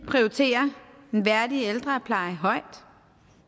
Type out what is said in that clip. prioriterer en værdig ældrepleje højt